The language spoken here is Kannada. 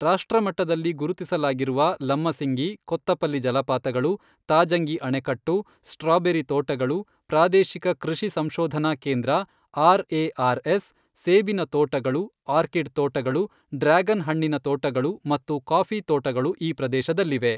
ರಾಷ್ಟ್ರ ಮಟ್ಟದಲ್ಲಿ ಗುರುತಿಸಲಾಗಿರುವ ಲಮ್ಮಸಿಂಗಿ, ಕೊತ್ತಪಲ್ಲಿ ಜಲಪಾತಗಳು, ತಾಜಂಗಿ ಅಣೆಕಟ್ಟು, ಸ್ಟ್ರಾಬೆರಿ ತೋಟಗಳು, ಪ್ರಾದೇಶಿಕ ಕೃಷಿ ಸಂಶೋಧನಾ ಕೇಂದ್ರ ,ಆರ್.ಎ.ಆರ್.ಎಸ್., ಸೇಬಿನ ತೋಟಗಳು, ಆರ್ಕಿಡ್ ತೋಟಗಳು, ಡ್ರ್ಯಾಗನ್ ಹಣ್ಣಿನ ತೋಟಗಳು ಮತ್ತು ಕಾಫಿ ತೋಟಗಳು ಈ ಪ್ರದೇಶದಲ್ಲಿವೆ.